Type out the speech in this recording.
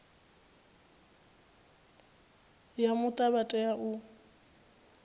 ya muta vha tea u